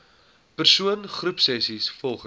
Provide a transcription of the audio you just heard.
persoon groepsessies volgens